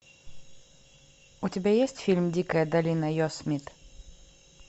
у тебя есть фильм дикая долина йосемит